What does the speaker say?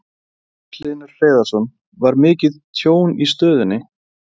Magnús Hlynur Hreiðarsson: Var mikið tjón í stöðinni?